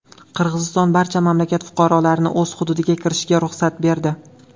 Qirg‘iziston barcha mamlakat fuqarolarining o‘z hududiga kirishiga ruxsat berdi.